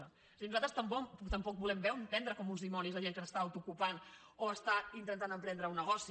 és a dir nosaltres tampoc volem vendre com uns dimonis la gent que s’està auto ocupant o està intentant emprendre un negoci